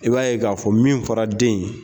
I b'a ye k'a fɔ min fɔra den in ye.